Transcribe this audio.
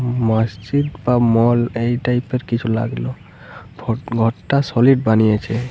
মসজিদ বা মল এই টাইপ এর কিছু লাগলো। ফ ঘরটা সলিড বানিয়েছে ।